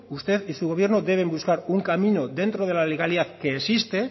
usted y su gobierno deben buscar un camino dentro de la legalidad que existe